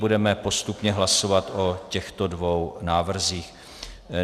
Budeme postupně hlasovat o těchto dvou návrzích.